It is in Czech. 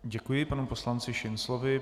Děkuji panu poslanci Šinclovi.